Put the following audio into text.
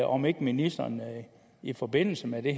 om ikke ministeren i forbindelse med det